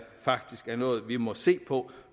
faktisk er noget vi må se på